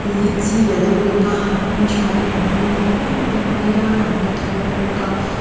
lychee a lo lang a a hmin thain an tuihnai em em mai a an la thar bawk a.